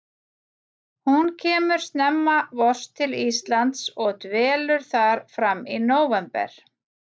Hún kemur snemma vors til Íslands og dvelur þar fram í nóvember.